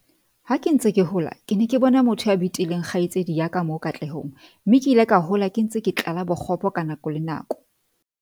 "Ha ke ntse ke hola, ke ne ke bona motho ya betileng kgaitsedi ya ka moo Katlehong mme ke ile ka hola ke ntse ke tlala bokgopo ka nako le nako."